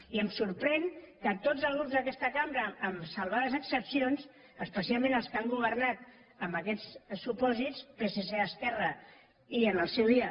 i em sorprèn que tots els grups d’aquesta cambra amb salvades excepcions especialment els que han governat amb aquests supòsits psc esquerra i en el seu dia